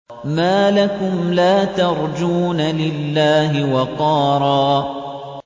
مَّا لَكُمْ لَا تَرْجُونَ لِلَّهِ وَقَارًا